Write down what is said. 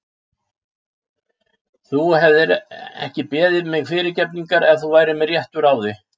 Þú hefðir ekki beðið mig fyrirgefningar ef þú værir með réttu ráði.